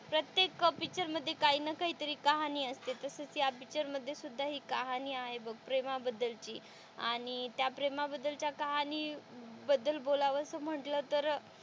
प्रत्येक पिक्चर मध्ये काही ना काही कहाणी असते तसेच पिक्चरमध्ये सुद्धा हि कहाणी आहे बघ प्रेमाबद्दल ची, आणि त्या प्रेमा बद्दलच्या कहाणी बद्दल बोलावंसं म्हणलं तर,